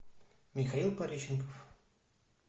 михаил пореченков